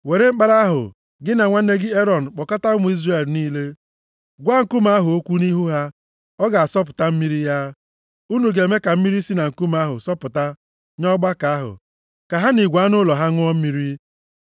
“Were mkpara ahụ, gị na nwanne gị Erọn kpọkọta nzukọ Izrel niile. Gwa nkume ahụ okwu nʼihu ha, ọ ga-asọpụta mmiri ya. Unu ga-eme ka mmiri si na nkume ahụ sọpụta nye ọgbakọ ahụ, ka ha na igwe anụ ụlọ ha, ṅụọ mmiri.”